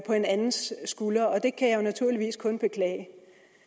en andens skulder og det kan jeg naturligvis kun beklage